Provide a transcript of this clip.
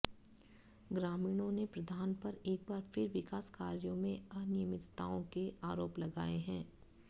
ग्रामीणों ने प्रधान पर एक बार फिर विकास कार्यों में अनियमितताओं के आरोप लगाए हैं